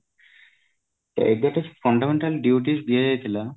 ଏବେ ଯୋଉ fundamental duties ଦିଆଯାଇଥିଲା